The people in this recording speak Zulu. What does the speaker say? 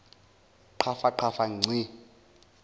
qhafa qhafa ngci